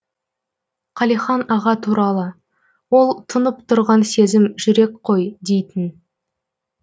қалихан аға туралы ол тұнып тұрған сезім жүрек қой дейтін